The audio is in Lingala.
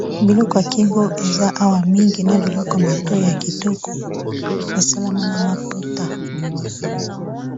Biloko ya kingo eza awa mingi, na biloko matoyi ya kitoko, e salama na maputa .